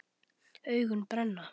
Augun brenna.